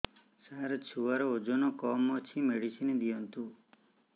ସାର ଛୁଆର ଓଜନ କମ ଅଛି ମେଡିସିନ ଦିଅନ୍ତୁ